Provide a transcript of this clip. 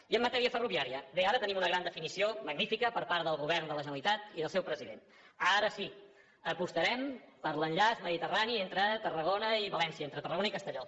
i en matèria ferroviària bé ara tenim una gran definició magnífica per part del govern de la generalitat i del seu president ara sí apostarem per l’enllaç mediterrani entre tarragona i valència entre tarragona i castelló